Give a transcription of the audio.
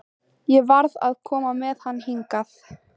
Ég varð að koma með hann hingað.